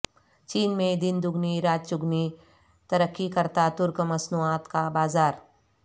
چین میں دن دگنی رات چگنی ترقی کرتا ترک مصنوعات کا بازار